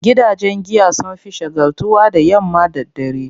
Gidajen giya sun fi shagaltuwa da yamma da dare.